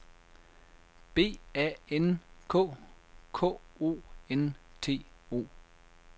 B A N K K O N T O